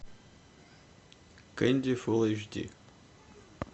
кэнди фул эйч ди